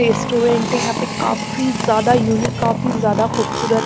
Restaurant है यहाँ पे काफी ज्यादा उनीक काफी ज्यादा खूबसूरत।